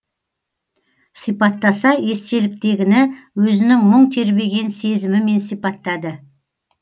сипаттаса естеліктегіні өзінің мұң тербеген сезімімен сипаттады